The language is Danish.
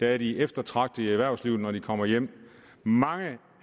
er de eftertragtede i erhvervslivet når de kommer hjem mange